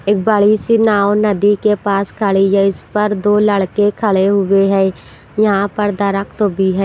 एक बड़ी सी नाव नदी के पास खड़ी है इस पर दो लड़के खड़े हुए हैं यहाँ पर दरख्त भी है।